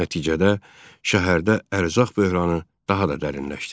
Nəticədə şəhərdə ərzaq böhranı daha da dərinləşdi.